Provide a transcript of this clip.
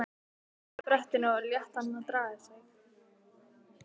Stóð á brettinu og lét hann draga sig.